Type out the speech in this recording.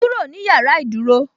"Kúrò ní yàrá ìdúró"